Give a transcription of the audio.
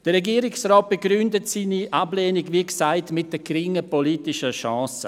– Der Regierungsrat begründet seine Ablehnung, wie gesagt, mit den geringen politischen Chancen.